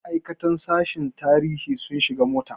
Ma'aikatan sashen tarihi sun shiga mota.